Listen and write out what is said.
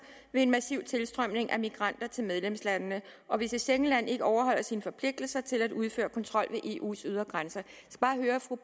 ved en massiv tilstrømning af migranter til medlemslandene og hvis et schengen land ikke overholder sine forpligtelser til at udføre kontrol ved eu’s ydre grænser